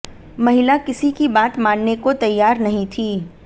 महिला किसी की बात मानने को तैयार नहीं थी